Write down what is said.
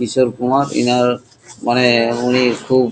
কিশোর কুমার ইনার মানে-এ উনি-ই খুব--